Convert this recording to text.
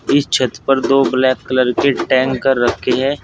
इस छत पर दो ब्लैक कलर के टैंक रखे है।